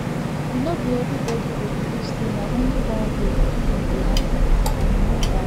e no be everybody go believe say na only one way healing dey happen and e no bad